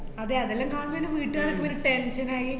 അതേ അതേല്ലോ കാണണേണ് വീട്ടുകാര് ഒരു tension ആയി